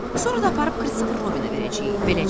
Sonra da aparıb Christopher Robinə verəcəyik.